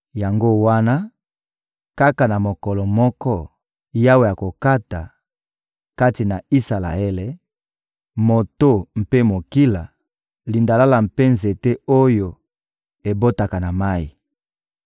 Yango wana, kaka na mokolo moko, Yawe akokata, kati na Isalaele, moto mpe mokila, lindalala mpe nzete oyo ebotaka na mayi.